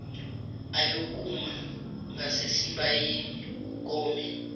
ayokuma ngasesibayeni kome